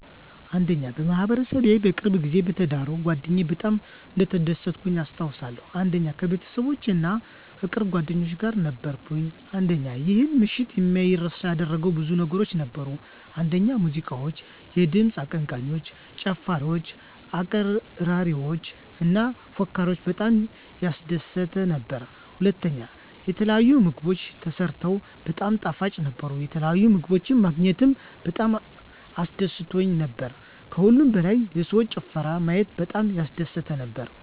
1. በማህበረሰቤ በቅርብ ጊዜ በተዳረው ጓደኛየ በጣም እንደተደሰትኩኝ አስታውሳለሁ። 1. ከቤተሰቦቼ እና ከቅርብ ጓደኞቼ ጋር ነበርኩኝ። 1. ይህን ምሽት የማይረሳ ያደረገው ብዙ ነገሮች ነበሩ፤ አንደኛ ሙዚቃዎች፣ የድምፅ አቀንቃኞች፣ ጨፋሪወች፣ አቅራሪዎች እና ፎካሪወች በጣም ያስደስት ነበር። *ሁለተኛ፣ የተለያዩ ምግቦች ተሰርተው በጣም ጣፋጭ ነበሩ፣ የተለያዩ ምግቦች ማግኘታችን በጣም አስደስቶን ነበር። ከሁሉም በላይ የሰውን ጭፈራ ማየት በጣም ያስደስት ነበር።